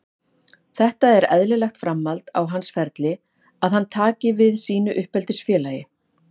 Þetta er eðlilegt framhald á hans ferli að hann taki við sínu uppeldisfélagi.